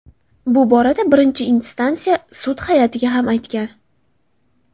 Bu borada birinchi instansiya sudi hay’atiga ham aytgan.